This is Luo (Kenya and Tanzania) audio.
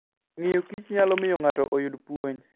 Ng'iyo Kich nyalo miyo ng'ato oyud puonj.